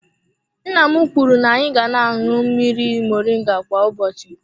Nna m kwuru na-anyị ga na-aṅụ mmiri moringa kwa ụbọchị.